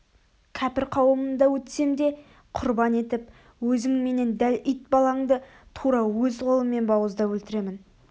кәпір қауымында өтсем де құрбан етіп өзің менен дәл ит баланды тура өз қолыммен бауыздап өлтіремін